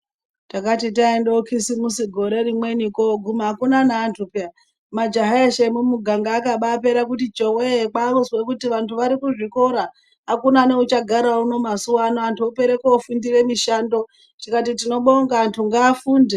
Takati taenda kukisimusi gore rimweni koguma hakuna neantu peya. Majaha eshe emumuganga akabapera kuti chohwe. Kwakuzwe kuti vantu vari kuzvikora hakuna neuchagara uno mazuva ano antu opere kofundire mishando tikati tinobonga antu ngaafunde.